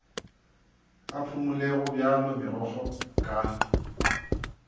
a phumole gobjalo megokgo ka